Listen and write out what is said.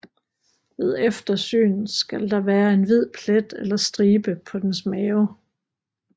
Ved eftersyn skal der være en hvid plet eller stribe på dens mave